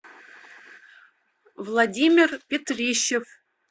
владимир петрищев